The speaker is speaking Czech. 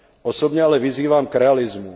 Osobně ale vyzývám k realismu.